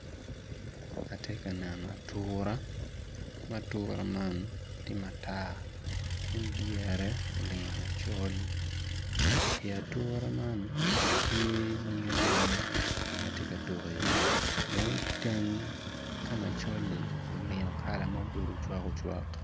Atye ka neno atura maa atura man tye matar kun dyere olingo macol i atura man tye nyig anyangi ma tye ka tuk iye dong iteng ka macol-li olingo kala ma obedo ocwak ocwak.